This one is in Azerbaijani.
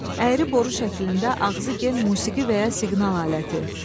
əyri boru şəklində ağzı gen musiqi və ya siqnal aləti.